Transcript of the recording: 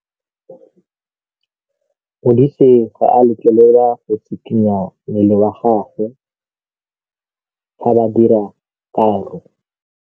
Modise ga a letlelelwa go tshikinya mmele wa gagwe fa ba dira karô.